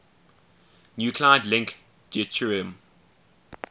nuclide link deuterium